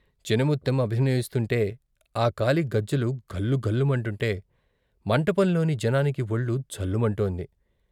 చినముత్తెం అభినయిస్తుంటే, ఆ కాలి గజ్జలు ఘల్లు ఘల్లు మంటుంటే మంటపంలోని జనానికి వొళ్లు ఝల్లుమంటోంది.